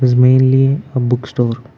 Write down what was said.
its mainly a book store.